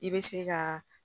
I bɛ se ka